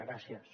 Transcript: gràcies